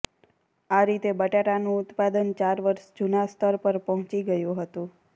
આ રીતે બટાટાનું ઉત્પાદન ચાર વર્ષ જૂના સ્તર પર પહોંચી ગયું હતું